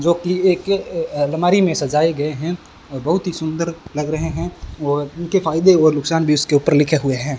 जो कि एक अलमारी मे सजाय गए हैं और बहुत ही सुंदर लग रहे हैं और इनके फायदे और नुकसान भी उसके ऊपर लिखे हुए है।